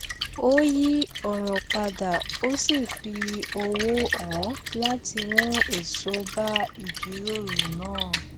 ó yí òrò padà ó sì fi ọwò hàn láti mú èso bá ìjíròrò náà